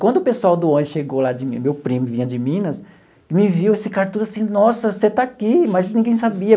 Quando o pessoal do ônibus chegou lá, meu primo vinha de Minas e me viu, eles ficaram todo assim, nossa, você está aqui, mas ninguém sabia.